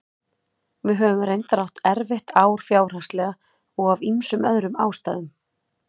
Við höfum reyndar átt erfitt ár fjárhagslega og af ýmsum öðrum ástæðum.